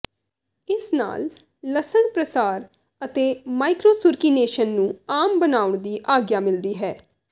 ਇਸ ਨਾਲ ਲਸਣ ਪ੍ਰਸਾਰ ਅਤੇ ਮਾਈਕਰੋਸੁਰਕੀਨੇਸ਼ਨ ਨੂੰ ਆਮ ਬਣਾਉਣ ਦੀ ਆਗਿਆ ਮਿਲਦੀ ਹੈ